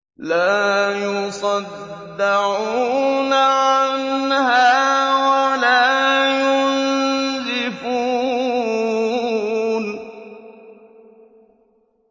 لَّا يُصَدَّعُونَ عَنْهَا وَلَا يُنزِفُونَ